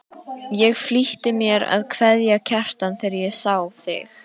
Ég flýtti mér að kveðja Kjartan þegar ég sá þig.